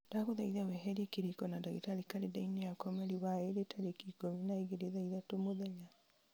ndagũthaitha weherie kĩrĩko na ndagĩtarĩ karenda-inĩ yakwa mweri wa ĩrĩ tarĩki ikũmi na igĩrĩ thaa ithatũ mũthenya